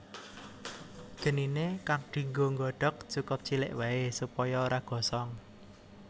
Geniné kang dinggo nggodhog cukup cilik waé supaya ora gosong